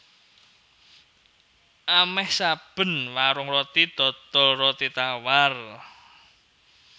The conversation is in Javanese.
Amèh saben warung roti dodol roti tawar